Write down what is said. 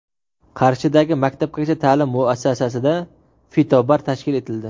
Qarshidagi maktabgacha ta’lim muassasasida fitobar tashkil etildi.